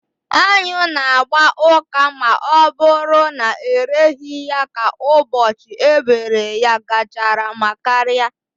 Anyụ na agba ụka ma ọ bụrụ na ereghị ya ka ụbọchị e bere ya gachara ma karịa